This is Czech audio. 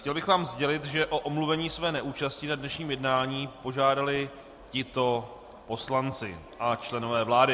Chtěl bych vám sdělit, že o omluvení své neúčasti na dnešním jednání požádali tito poslanci a členové vlády: